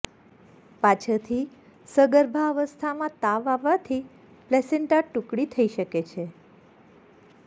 પાછળથી સગર્ભાવસ્થામાં તાવ આવવાથી પ્લેસેન્ટા ટુકડી થઈ શકે છે